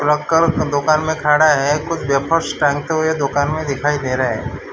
का दुकान में खड़ा है कुछ वेफर्स टांगते हुए दुकान में दिखाई दे रहा है।